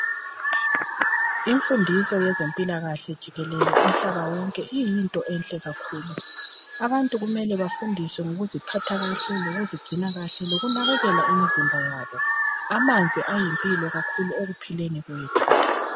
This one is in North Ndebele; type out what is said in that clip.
Imfundiso yezempilakahle jikelele umhlaba wonke, iyinto enhle kakhulu. Abantu kumele bafundiswe ngokuziphatha kahle lokuzigcina kahle, lokunakekela imizimba yabo. Amanzi ayimpilo kakhulu ekuphileni kwethu.